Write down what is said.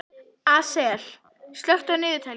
Asael, slökktu á niðurteljaranum.